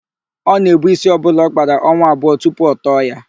Ọ na-èbú ísí ọbụla ọ kpara ọnwa abụọ tupu ọ tọọ ya.